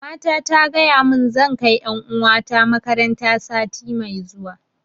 Mamata ta gaya mun zan kai ƴan uwa ta makaranta sati mai zuwa